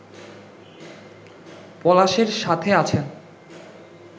পলাশের সাথে আছেন